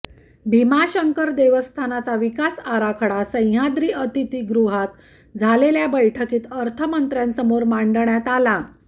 भीमांशकर देवस्थानचा विकास आराखडा सह्याद्री अतिथीगृहात झालेल्या बैठकीत अर्थमंत्र्यांसमोर मांडण्यात आला